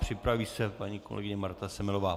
Připraví se paní kolegyně Marta Semelová.